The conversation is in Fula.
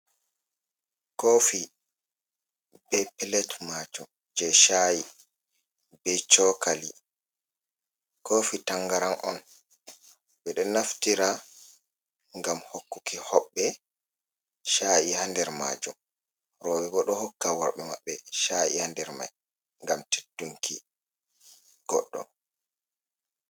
Kofi be pilet majum je sha’i be chokali, kofi tangaran on ɓeɗo naftira ngam hokkuki hoɓɓe cha’i ha nder majum, roɓe bo ɗo hokka worɓe maɓɓe sha’i ha nder mai ngam teddunki goɗɗo.